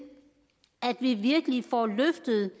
at vi virkelig får løftet